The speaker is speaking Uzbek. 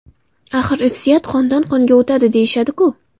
Axir irsiyat qondan qonga o‘tadi, deyishadi-ku!